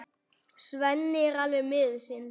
Svenni er alveg miður sín.